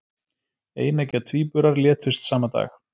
Eineggja tvíburar létust sama dag